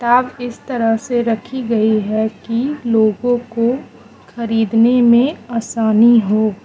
ताब इस तरह से रखी गयी है की लोगों को खरीदने मे असानी हो --